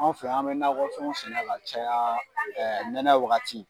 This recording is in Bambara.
Anw fɛ an bɛ nakɔ fɛnw sɛnɛn ka caya nɛnɛ wagati.